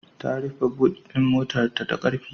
Ta rufe but ɗin motarta da ƙarfi.